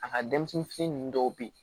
A ka denmisɛnnin fitinin ninnu dɔw bɛ yen